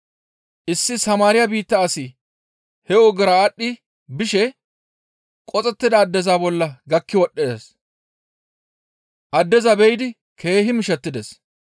Issi Samaariya biitta asi he ogera aadhdhi bishe qoxettida addeza bolla gakki wodhdhides; Addeza be7idi keehi mishettides.